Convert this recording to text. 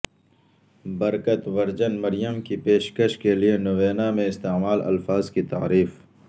برکت virgin Maryam کی پیشکش کے لئے نوینا میں استعمال الفاظ کی تعریف